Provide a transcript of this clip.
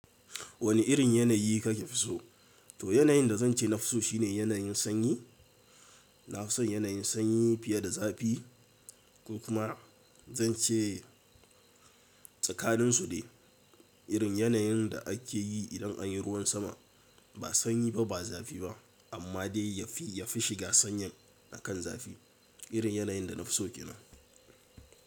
Wani irin yanayi kake fi so? To yanayin da zan ce na fi so shine yanayin sanyi. Na fi son yanayin sanyi fiye da zafi. Kuma zan ce tsakanin su dai irin yanayin da ake yi idan an yi ruwan sama. Ba sanyi ba, ba zafi ba, amma dai yafi shiga sanyin akan zafi. Irin yanayin da na fi so ke nan.